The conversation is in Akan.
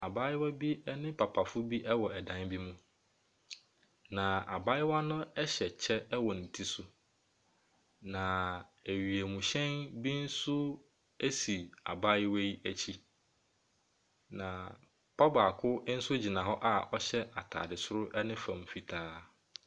Abaayewa bi ne papafoɔ bi wɔ dan bi mu. Na abaayewa no hyɛ kyɛ wɔ ne ti so. Na wiemhyɛn bi nso si abaayewa yi akyi. Na papa baako nso gyina hɔ a ɔhyɛ ataadeɛ soro ne fam fitaa.